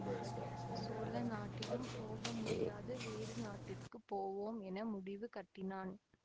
சோழ நாட்டிலும் போகமுடியாது வேறு நாட்டிற்குப் போவோம் என முடிவு கட்டினான்